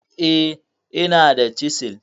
eh, inada chisel